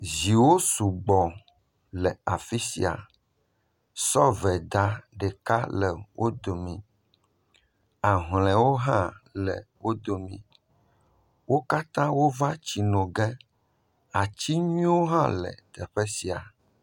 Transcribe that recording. Ziwo le sugbɔ le afi sia, sɔveda le wo dome, ahlɔewo hã le dome, wo katã wova tsi no ge, atinyuiewo hã le teƒe sia.